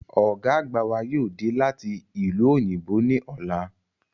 Ọ̀gá àgbà wa yóò dé láti ìlú òyìnbó ní ọ̀la